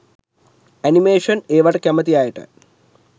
animation ඒවට කැමති අයට